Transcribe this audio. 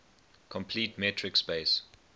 complete metric space